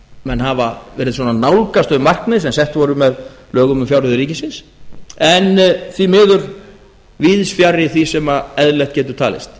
menn hafa verið svona að nálgast þau markmið sem sett voru með lögum um fjárreiður ríkisins en því miður víðs fjarri því sem eðlilegt getur talist